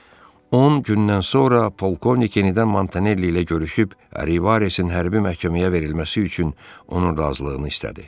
On gündən sonra polkovnik yenidən Montanelli ilə görüşüb Rivaresin hərbi məhkəməyə verilməsi üçün onun razılığını istədi.